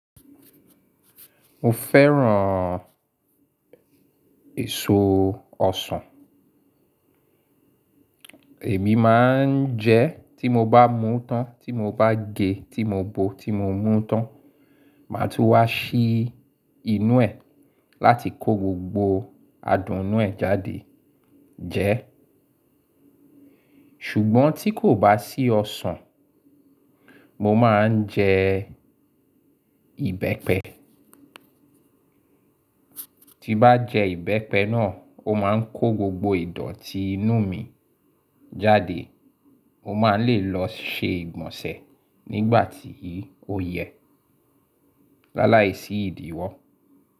Mo fẹ́ràn èso ọsàn. Èmi máa ń jẹ tí mo bá mú tán, tí mo bá gẹ, tí mo bo, tí mo mú tán. Máa tún wá sí inú ẹ̀ láti kó gbogbo adùn inú ẹ̀ jáde jẹ. Ṣùgbọ́n tí kò bá sí ọsàn, mo máa ń jẹ ìbẹ́pẹ. Tí n bá jẹ ìbẹ́pẹ náà, ó máa ń kó gbogbo ìdọ̀tí inú mi jáde. Mo máa ń lè lọ ṣe ìgbọ̀nsẹ̀ nígbà tí ó yẹ. Láláìsí ìdíwọ́.